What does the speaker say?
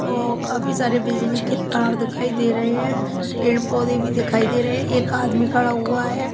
औ काफी सारे बिजली के तार दिखाई दे रहे हैं पेड़ पौधे भी दिखाई दे रहे है एक आदमी खड़ा हुआ है।